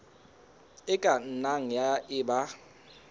e ka nnang ya eba